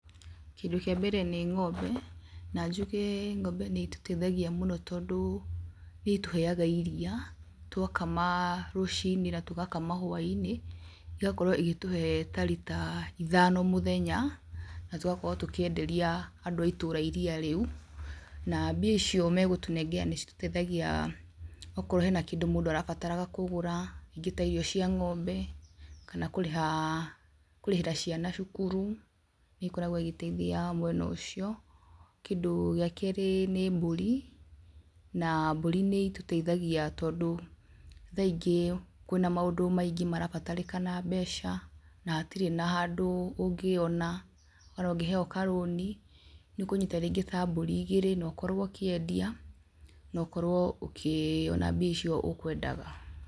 Kindũ kĩa mbere nĩ ng'ombe, na njuge ng'ombe nĩ itũteithagia mũno tondũ nĩ itũheaga iria, twakama rũcinĩ na tũgakama hwainĩ. Igakorwo igĩtũhe ta rita ithano mũthenya, na tũgakorwo tũkĩenderia andũ a itũũra iria rĩũ, na mbia icio megũtũnengera nĩ citũteithagia okorwo hena kindũ mũndũ arabataraga kũgũra, ringĩ ta irio cia ng'ombe kana kũrĩha, kũrĩhĩra ciana cukuru, nĩ ikoragwo igĩteithia mwena ũcio. Kindũ gĩa kerĩ nĩ mbũri, na mburĩ nĩ itũteithagia tondũ thaa ingĩ kwĩna maũndũ maingĩ marabatarĩkana mbeca, na hatirĩ na handũ ũngĩona kana ũngĩheo karũni, nĩ ũkunyita rĩngi ta mburi igĩrĩ na ũkorwo ũkĩendia, na ũkorwo ũkĩona mbia icio ũkwendaga.